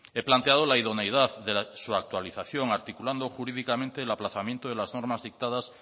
he planteado la idoneidad de su actualización articulando jurídicamente el aplazamiento de las normas dictadas